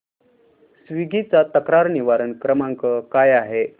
Swiggy चा तक्रार निवारण क्रमांक काय आहे